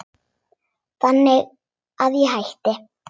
Þannig að ég hætti.